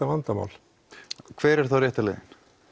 vandamál hver er þá rétta leiðin